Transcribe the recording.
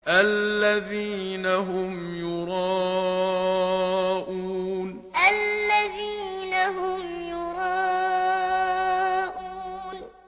الَّذِينَ هُمْ يُرَاءُونَ الَّذِينَ هُمْ يُرَاءُونَ